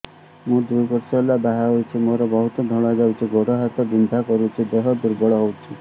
ମୁ ଦୁଇ ବର୍ଷ ହେଲା ବାହା ହେଇଛି ମୋର ବହୁତ ଧଳା ଯାଉଛି ଗୋଡ଼ ହାତ ବିନ୍ଧା କରୁଛି ଦେହ ଦୁର୍ବଳ ହଉଛି